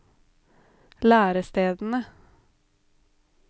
lærestedene